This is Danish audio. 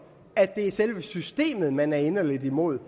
at det er selve systemet man er inderlig imod